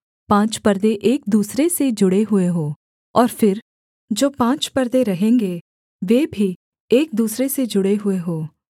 पाँच परदे एक दूसरे से जुड़े हुए हों और फिर जो पाँच परदे रहेंगे वे भी एक दूसरे से जुड़े हुए हों